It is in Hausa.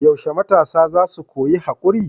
Yaushe matasa za su koyi haƙuri?